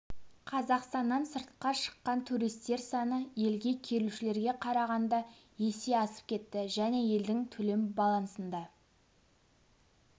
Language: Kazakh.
қазақстаннан сыртқа шыққан туристер саны елге келушілерге қарағанда есе асып кетті және елдің төлем балансында